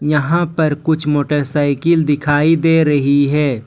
यहां पर कुछ मोटरसाइकिल दिखाई दे रही है।